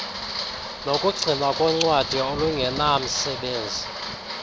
nokugcinwa koncwadi olungenamsebenzi